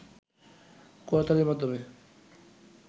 করতালির মাধ্যমে